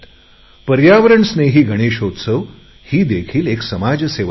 पर्यावरण स्नेही गणेशोत्सव ही देखील एक समाजसेवाच आहे